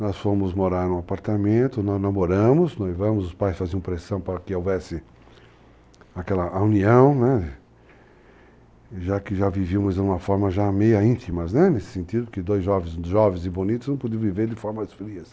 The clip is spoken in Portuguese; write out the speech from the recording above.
Nós fomos morar em um apartamento, nós namoramos, noivamos, os pais faziam pressão para que houvesse aquela união, né, já que já vivíamos de uma forma já meio íntima nesse sentido, porque dois jovens, jovens e bonitos, não podiam viver de formas frias.